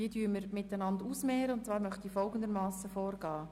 Wir stellen sie einander gegenüber und zwar mittels folgenden Vorgehens: